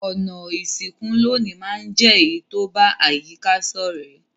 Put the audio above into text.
Ònà ìsìnkú loní ma n je èyí to ba àyíká sọ̀rẹ́